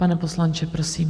Pane poslanče, prosím.